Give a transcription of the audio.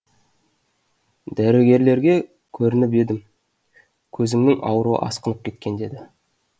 дәрігерлерге көрініп едім көзіңнің ауруы асқынып кеткен деді